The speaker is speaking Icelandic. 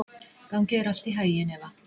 Gangi þér allt í haginn, Eva.